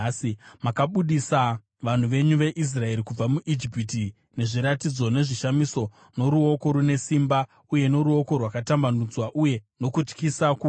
Makabudisa vanhu venyu veIsraeri kubva muIjipiti nezviratidzo nezvishamiso, noruoko rune simba uye noruoko rwakatambanudzwa, uye nokutyisa kukuru.